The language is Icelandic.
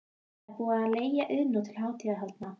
Það er búið að leigja Iðnó til hátíðahaldanna.